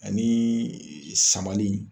Ani samali.